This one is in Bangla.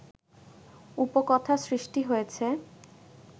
উপকথা সৃষ্টি হয়েছে